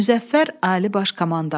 Müzəffər Ali Baş Komandan.